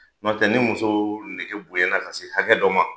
Nɔtɛ ni muso nege bonya na ka se hakɛ dɔ ma